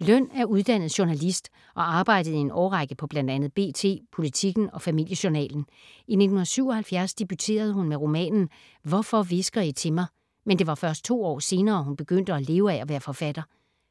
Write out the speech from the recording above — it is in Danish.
Løn er uddannet journalist og arbejdede i en årrække på bl.a. B.T., Politiken og Familie Journalen. I 1977 debuterede hun med romanen ”Hvorfor hvisker I til mig”, men det var først to år senere, hun begyndte at leve af at være forfatter.